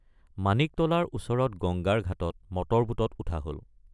মাণিকতলাৰ ওচৰত গঙ্গাৰ ঘাটত মটৰবোটত উঠা হল।